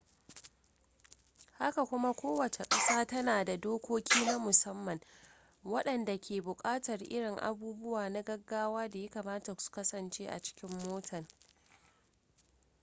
haka kuma kowace ƙasa tana da dokoki na musamman waɗanda ke buƙatar irin abubuwa na gaggawa da ya kamata su kasance a cikin mota